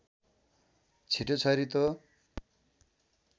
छिटो छरितो